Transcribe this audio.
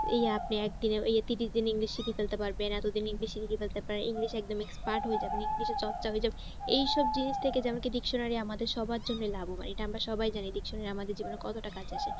এই আপনি একদিনে এই ত্রিশ দিনে english শিখে ফেলতে পারবেন এতো দিনে english শিখে ফেলতে পারেন english এ একদম expert হয়ে যাবেন english এ এই সব জিনিস থেকে যেমন কি dictionary আমাদের সবার জন্য লাভবান। এটা আমরা সবাই জানি dictionary আমাদের জীবনে কতটা কাজে আসে।